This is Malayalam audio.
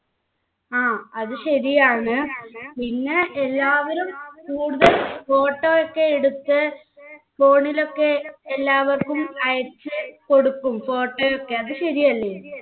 ആ അത് ശരിയാണ് പിന്നെ എല്ലാവരും photo ഒക്കെ എടുത്ത് phone ലൊക്കെ എല്ലാവർക്കും അയച്ചുകൊടുക്കും photo ഒക്കെ അത് ശരിയല്ലേ